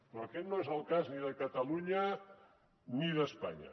però aquest no és el cas ni de catalunya ni d’espanya